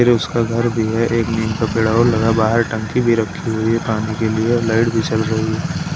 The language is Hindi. उसका घर भी है एक नीम का पेड़ और लगा बाहर टंकी भी रखी हुई है पानी के लिए लाइट भी जल रही--